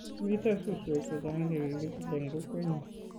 Mito suswek chechang' che kikitil eng' kokwenyo.